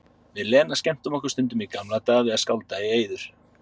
Við Lena skemmtum okkur stundum í gamla daga við að skálda í eyður.